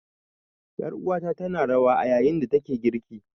Ƴar uwata tana rawa a yayin da take girki.